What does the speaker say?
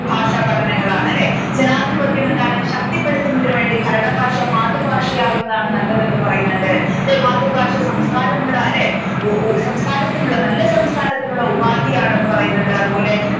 ഭാഷാപഠനങ്ങളാണ് അല്ലെ ജാനാതിപത്യം എന്താണ് ശക്തിപ്പെടുത്തുന്നതിന് വേണ്ടി ഭരണഭാഷ മാതൃഭാഷയാകുന്നതാണ് നല്ലത് എന്ന് പറയുന്നുണ്ട് മാതൃഭാഷ സംസ്കാരമുള്ള അല്ലെ സംസ്കാരത്തിനുള്ള അല്ലേ നല്ല സംസ്കാരത്തിനുള്ള ഉപാധിയാണ് എന്ന് പറയുന്നുണ്ട് അതുപോലെ